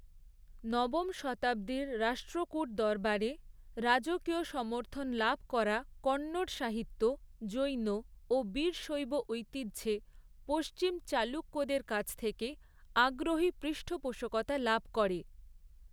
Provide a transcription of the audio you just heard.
নবম শতাব্দীর রাষ্ট্রকূট দরবারে, রাজকীয় সমর্থন লাভ করা কন্নড় সাহিত্য, জৈন এবং বীরশৈব ঐতিহ্যে; পশ্চিম চালুক্যদের কাছ থেকে আগ্রহী পৃষ্ঠপোষকতা লাভ করে।